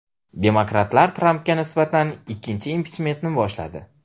Demokratlar Trampga nisbatan ikkinchi impichmentni boshladi.